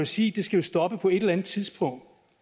sige skal stoppe på et eller andet tidspunkt